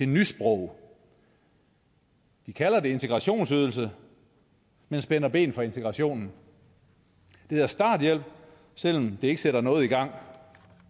nysprog de kalder det integrationsydelse men spænder ben for integrationen det hedder starthjælp selv om det ikke sætter noget i gang